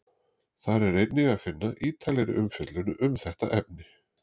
þar er einnig að finna ítarlegri umfjöllun um þetta efni